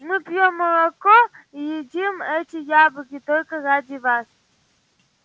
мы пьём молоко и едим эти яблоки только ради вас